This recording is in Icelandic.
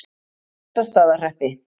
Bessastaðahreppi